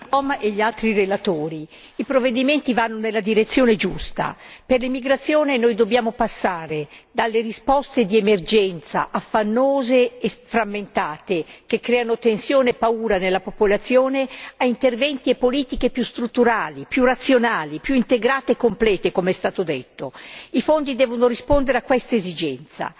Signor Presidente, onorevoli colleghi, ringrazio i Commissari e gli altri relatori, i provvedimenti vanno nella direzione giusta. Per l'immigrazione noi dobbiamo passare dalle risposte di emergenza, affannose e frammentate, che creano tensione e paura nella popolazione, a interventi e politiche più strutturali, più razionali, più integrate e complete, come è stato detto. I fondi devono rispondere a questa esigenza,